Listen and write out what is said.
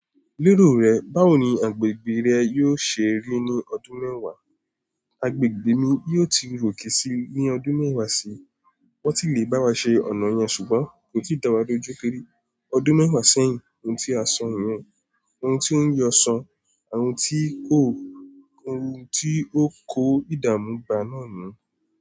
Lérò rẹ, báwo ni agbègbè rẹ yóò ṣe rí ní ọdún mẹ́wàá? Agbègbè mi yóò ti ròkè si ní ọdún mẹ́wàá sí i. Wọ́n ti lè bá wa ṣe ọ̀nà yẹn ṣùgbọ́n kò ti dà wá dojúkẹrẹ. Ọdún mẹ́wàá sẹ́yìn, ohun tí a sọro, ohun tí wóń jọ ọ so, ohun tí kò, ohun tí ó kó ìdààmú ba náà nú.